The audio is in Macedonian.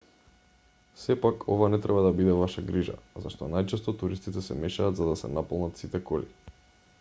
сепак ова не треба да биде ваша грижа зашто најчесто туристите се мешаат за да се наполнат сите коли